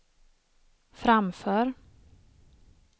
framför